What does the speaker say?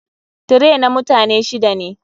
Tray na mutane shida ne.